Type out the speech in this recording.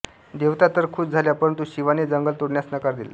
देवता तर खुश झाल्या परंतु शिवाने जंगल सोडण्यास नकार दिला